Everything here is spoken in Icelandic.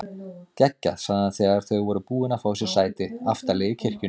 Geggjað sagði hann þegar þau voru búin að fá sér sæti aftarlega í kirkjunni.